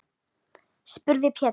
spurði Pétur.